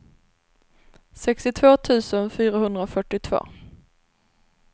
sextiotvå tusen fyrahundrafyrtiotvå